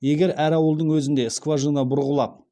егер әр ауылдың өзінде скважина бұрғылап